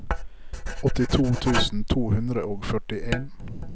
åttito tusen to hundre og førtien